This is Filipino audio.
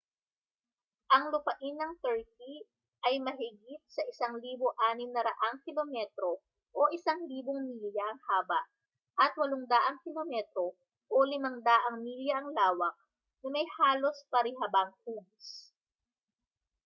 ang lupain ng turkey ay mahigit sa 1,600 kilometro 1,000 mi ang haba at 800 km 500 mi ang lawak na may halos parihabang hugis